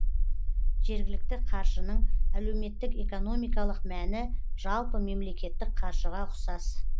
жергілікті қаржының әлеуметтік экономикалық мәні жалпы мемлекеттік қаржыға ұксас